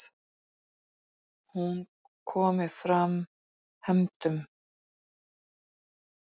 Hún komi fram hefndum.